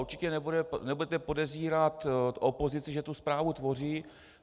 Určitě nebudete podezírat opozici, že tu zprávu tvoří.